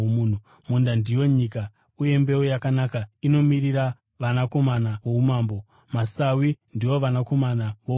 Munda ndiyo nyika, uye mbeu yakanaka inomirira vanakomana voumambo. Masawi ndiwo vanakomana vowakaipa,